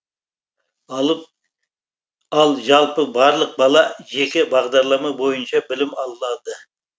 ал жалпы барлық бала жеке бағдарлама бойынша білім алады